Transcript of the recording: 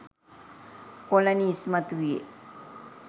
colony ඉස්මතු විය